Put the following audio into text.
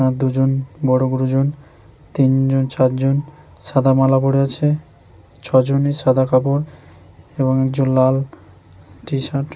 আর দুজন বড় গুরুজন তিনজন চার জন সাদা মালা পড়ে আছে ছজনই সাদা কাপড় এবং লাল টি-শার্ট --